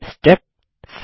step 7